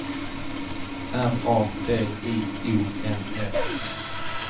R A D I O N S